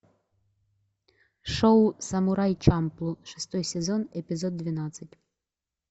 шоу самурай чамплу шестой сезон эпизод двенадцать